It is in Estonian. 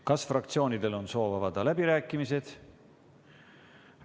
Kas fraktsioonidel on soov avada läbirääkimised?